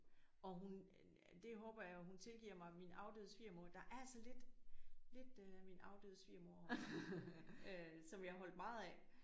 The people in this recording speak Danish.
Og hun det håber jeg hun tilgiver mig min afdøde svigermor der er altså lidt lidt øh min afdøde svigermor over hende øh som jeg holdt meget af